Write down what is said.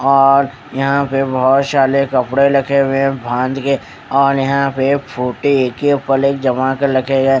और यहां पे बहुत सारे कपड़े रखे हुए है बांध के और यहां पे एक के ऊपर एक जमा कर रखे गए।